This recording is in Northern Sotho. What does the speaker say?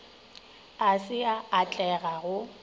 ga se a atlega go